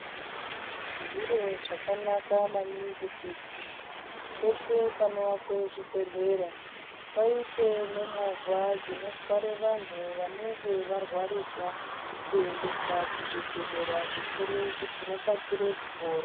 Zviro zvakanaka maningi kuti peshe panowakwe zvibhedhlera, paite nemova dzinothware vanu vanenge varwarisa, kuendesa kuzvibhedhlera zvikuru kuti vakasire kupora.